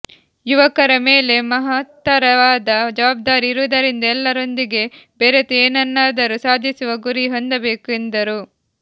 ಯುವಕರ ಮೇಲೆ ಮಹತ್ತರವಾದ ಜವಾಬ್ದಾರಿ ಇರುವುದರಿಂದ ಎಲ್ಲರೊಂದಿಗೆ ಬೆರೆತು ಏನನ್ನಾದರೂ ಸಾಧಿಸುವ ಗುರಿ ಹೊಂದಬೇಕೆಂದರು